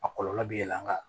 A kɔlɔlɔ bɛ yɛlɛn kan